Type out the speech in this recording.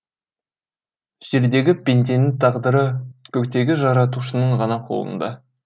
жердегі пенденің тағдыры көктегі жаратушының ғана қолында